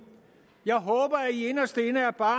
jeg håber at i inderst inde er bare